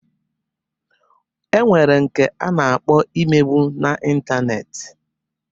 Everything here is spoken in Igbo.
E nwere nke a na-akpọ imegbu n'intaneeti.